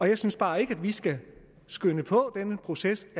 jeg synes bare ikke at vi skal skynde på denne proces